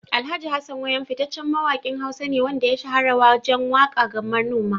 Alhj. Hassan Wayam fitaccen mawakin Hausa ne wanda ya shahara wajen waka ga manoma.